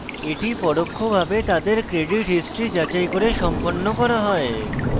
এটি পরোক্ষভাবে তাদের credit history যাচাই করে সম্পন্ন করা হয়